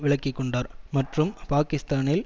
விலக்கிக்கொண்டார் மற்றும் பாகிஸ்தானில்